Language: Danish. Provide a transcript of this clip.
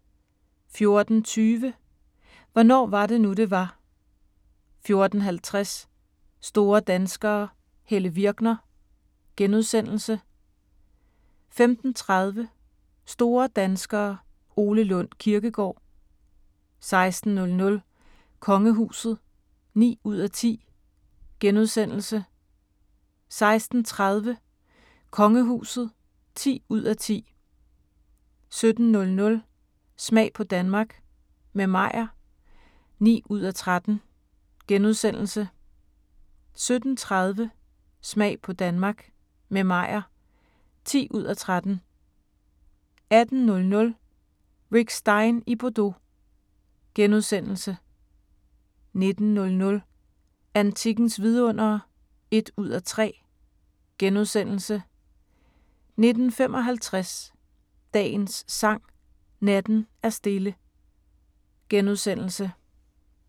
14:20: Hvornår var det nu, det var? 14:50: Store danskere - Helle Virkner * 15:30: Store danskere – Ole Lund Kirkegaard 16:00: Kongehuset (9:10)* 16:30: Kongehuset (10:10) 17:00: Smag på Danmark – med Meyer (9:13)* 17:30: Smag på Danmark – med Meyer (10:13) 18:00: Rick Stein i Bordeaux * 19:00: Antikkens vidundere (1:3)* 19:55: Dagens Sang: Natten er stille *